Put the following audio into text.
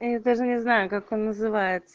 я даже не знаю как он называется